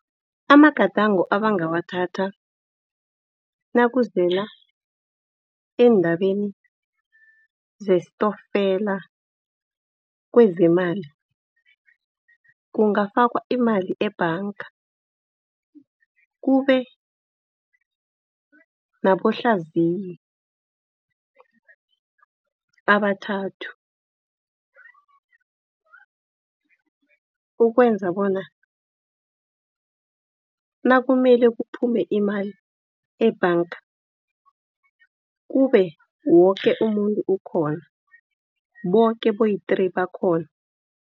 Amagadango abangawathatha nakuziwa endabeni yestokfela kwezeemali. Kungafakwa imali ebhanga kube nabahlaziyi abathathu ukwenza bona nakumele kuphume imali ebhanga kube woke umuntu ukhona boke boyi-three bakhona.